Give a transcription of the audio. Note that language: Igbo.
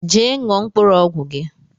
Jee ṅụọ mkpụrụ ọgwụ gi